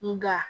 Nga